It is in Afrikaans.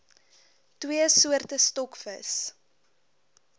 twee soorte stokvis